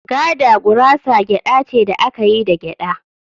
“Gada gurasa gyada ce da aka yi da gyada